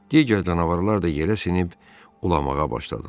Digər canavarlar da yerə sinib ulamağa başladılar.